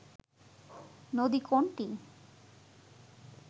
নদী কোনটি